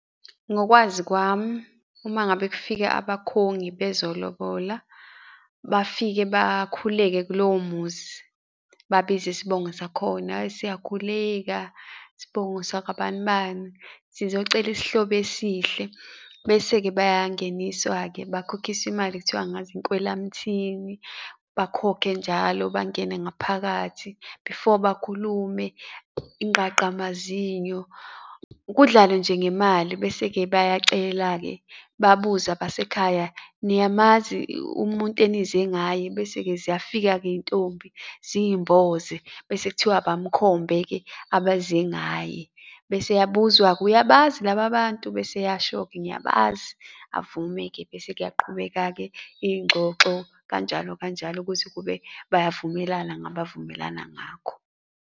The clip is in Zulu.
Ngokwazi kwami, uma ngabe kufika abakhongi bezolobola, bafike bakhuleke kulowo muzi, babize isibongo sakhona, hheyi, siyakhuleka isibongo sakabani bani sizocela isihlobo esihle, bese-ke bayangeniswa-ke bakhokhiswe imali, kuthiwa angazi, inkwelamthini. Bakhokhe njalo, bangene ngaphakathi before bakhulume, ingqaqamazinyo, kudlalwe nje ngemali. Bese-ke bayacela-ke, babuze abasekhaya, niyamazi umuntu enize ngaye? Bese-ke ziyafika-ke iy'ntombi, ziy'mboze, bese kuthiwa abamukhombe-ke abeze ngaye. Bese eyabuzwa-ke, uyabazi laba bantu? Bese eyasho-ke, ngiyabazi, avume-ke bese kuyaqhubeka-ke iy'ngxoxo kanjalo kanjalo, kuze kube bayavumelana ngabavumelana ngakho.